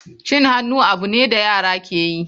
Cin hannu abu ne da yara ke yi.